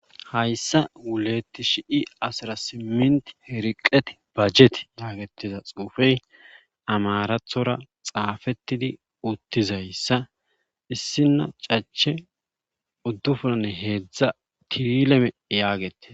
Hayssa wulet shi asra simnt riqet bajet yagetiza xuufe amaarattora xaafettidi uttizayssa issina cache uddufuni heedzdza tirilene yagetes.